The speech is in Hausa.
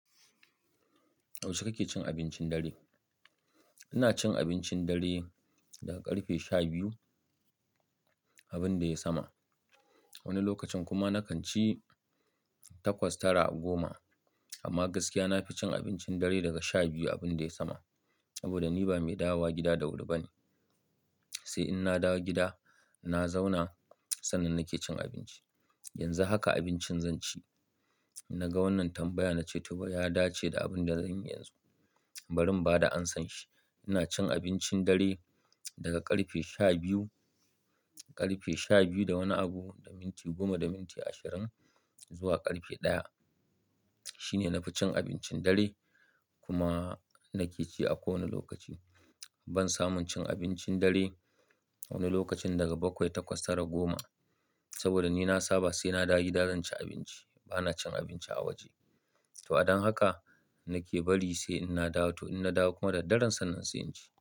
Yaushe kake cin abincin dare? Ina cin abincin dare daga ƙarfe sha biyu abin da yai sama. Wani lokacin kuma na kan ci takwas tara goma amma gaskiya na fi cin abincin dare daga sha biyu abin da yai sama. Saboda ni ba mai dawowa gida da wuri ba ne. Sai in na dawo gida, na zauna sannan nake cin abinci. Yanzu haka abincin zan ci. Na ga wannan tambaya na ce to ya dace da abin da zanyi yanzu, bari ba da amsan shi. Ina cin abincin dare daga ƙarfe sha biyu, ƙarfe sha biyu da wani abu da minti goma da minti ashirin zuwa ƙarfe ɗaya. Shine nafi cin abincin dare kuma nake ci a kowaneh lokaci. Ban samu cin abincin dare wani lokacin daga bakwai takwas tara goma saboda ni nah saba sai na dawo gida zan ci abinci. Ba na cin abinci a waje. To don haka nake bari sai in na dawo. To in na dawo kuma daddare sannan sai inci.